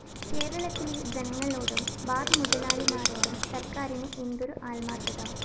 കേരളത്തിലെ ജനങ്ങളോടും ബാർ മുലതാളിമാരോടും സര്‍ക്കാരിന് എന്തൊരു ആത്മാര്‍ഥത